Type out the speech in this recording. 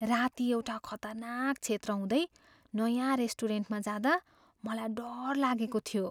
राती एउटा खतरनाक क्षेत्र हुँदै नयाँ रेस्टुरेन्टमा जाँदा मलाई डर लागेको थियो।